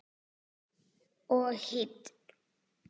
Og hýdd.